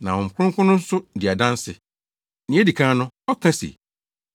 Na Honhom Kronkron no nso di adanse. Nea edi kan no, ɔka se,